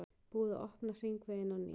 Búið að opna hringveginn á ný